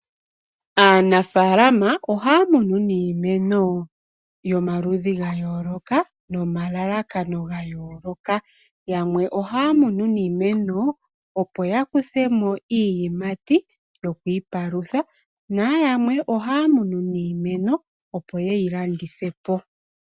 Aanafalama oha munu niimeno yomaludhi gayoloka nomalalakano gayooloka. Yamwe ohaya munu niimeno opo ya kuthemo iiyimati yoku ipalutha. Nayamwe ohaya munu niimeno opo yeyi landithe po.